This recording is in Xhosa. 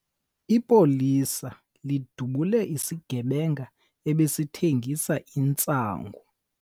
Ipolisa lidubule isigebenga ebesithengisa intsangu.